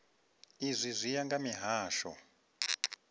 izwi zwi ya nga mihasho